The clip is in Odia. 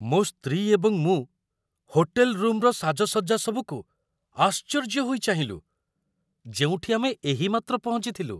ମୋ ସ୍ତ୍ରୀ ଏବଂ ମୁଁ ହୋଟେଲ୍‌ ରୁମ୍‌ର ସାଜସଜ୍ଜା ସବୁକୁ ଆଶ୍ଚର୍ଯ୍ୟ ହୋଇ ଚାହିଁଲୁ, ଯେଉଁଠି ଆମେ ଏହିମାତ୍ର ପହଞ୍ଚିଥିଲୁ।